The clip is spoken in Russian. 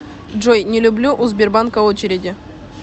джой не люблю у сбербанка очереди